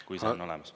Kui see on olemas.